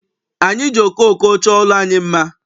Anyị ji okooko chọọ ụlọ anyị mma.